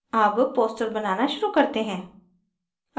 अब poster बनाना शुरू करते हैं